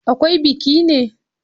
Akwai biki ne?